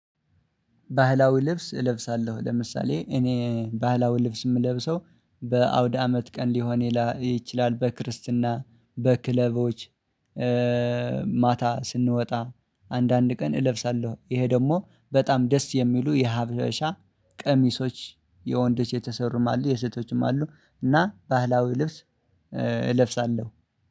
ባህላዊ ልብስ እለብሳለሁ። ለምሳሌ እኔ ባህላዊ ልብስ የምለብሰው በአውድ አመት ቀን ሊሆን ይችላል፤ በክርስትና፤ በክለቦች፤ ማታ ስንወጣ አንዳንድ ቀን እለብሳለሁ፤ ይሄ ደግሞ በጣም ደስ የሚሉ የሀብሻ ቀሚሶች፤ የወንዶች የተሰሩም አሉ የሴቶችም አሉ፤ እና ባህላዊ ልብስ እለብሳለሁ።